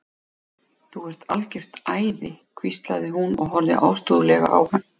Þú ert algjört æði hvíslaði hún og horfði ástúðlega á hann.